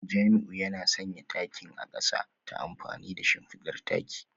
Jamiu yana sanya takin a kasa ta amfani da shimfidar taki